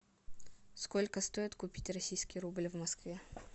сколько стоит купить российский рубль в москве